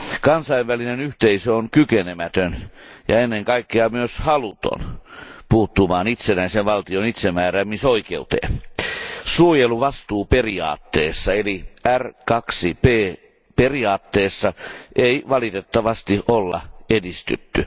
Kansainvälinen yhteisö on kykenemätön ja ennen kaikkea myös haluton puuttumaan itsenäisen valtion itsemääräämisoikeuteen. Suojeluvastuuperiaatteessa eli R2P periaatteessa ei valitettavasti ole edistytty.